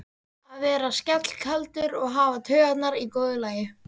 Að vera svellkaldur og hafa taugarnar í góðu lagi!